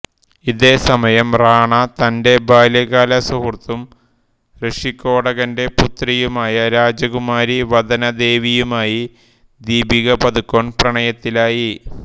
ഇതേസമയം റാണ തന്റെ ബാല്യകാല സുഹൃത്തും ഋഷികോടകന്റെ പുത്രിയുമായ രാജകുമാരി വദനദേവിയുമായി ദീപിക പാദുക്കോൺ പ്രണയത്തിലായി